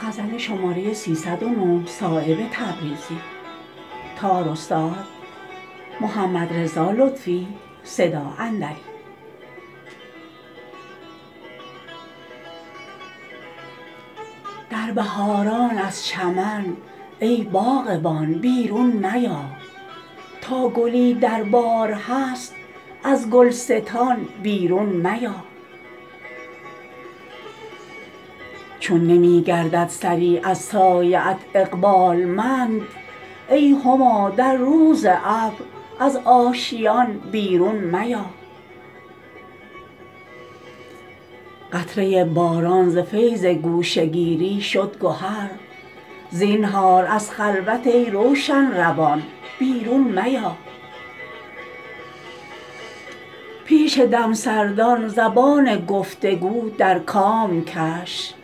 در بهاران از چمن ای باغبان بیرون میا تا گلی دربار هست از گلستان بیرون میا چون نمی گردد سری از سایه ات اقبالمند ای هما در روز ابر از آشیان بیرون میا قطره باران ز فیض گوشه گیری شد گهر زینهار از خلوت ای روشن روان بیرون میا پیش دمسردان زبان گفتگو در کام کش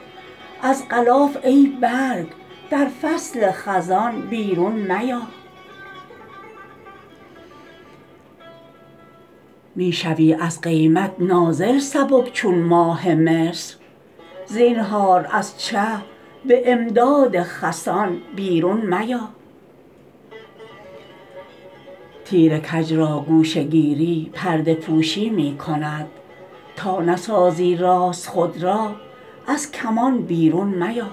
از غلاف ای برگ در فصل خزان بیرون میا می شوی از قیمت نازل سبک چون ماه مصر زینهار از چه به امداد خسان بیرون میا تیر کج را گوشه گیری پرده پوشی می کند تا نسازی راست خود را از کمان بیرون میا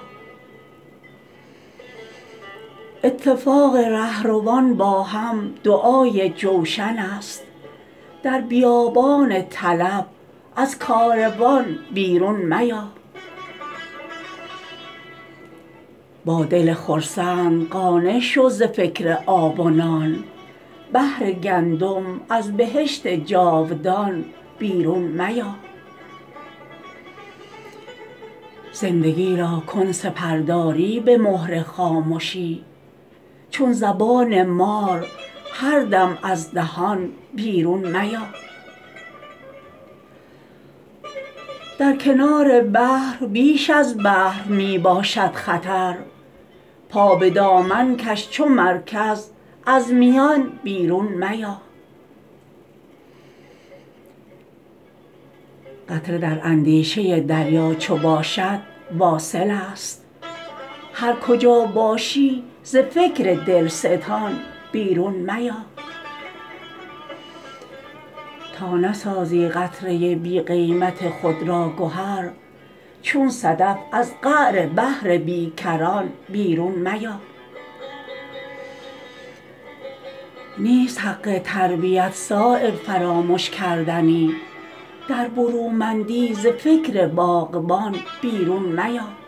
اتفاق رهروان با هم دعای جوشن است در بیابان طلب از کاروان بیرون میا با دل خرسند قانع شو ز فکر آب و نان بهر گندم از بهشت جاودان بیرون میا زندگی را کن سپرداری به مهر خامشی چون زبان مار هر دم از دهان بیرون میا در کنار بحر بیش از بحر می باشد خطر پا به دامن کش چو مرکز از میان بیرون میا قطره در اندیشه دریا چو باشد واصل است هر کجا باشی ز فکر دلستان بیرون میا تا نسازی قطره بی قیمت خود را گهر چون صدف از قعر بحر بیکران بیرون میا نیست حق تربیت صایب فرامش کردنی در برومندی ز فکر باغبان بیرون میا